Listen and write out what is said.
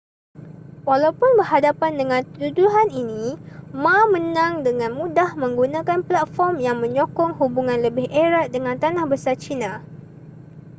walaupun berhadapan dengan tuduhan ini ma menang dengan mudah menggunakan platform yang menyokong hubungan lebih erat dengan tanah besar china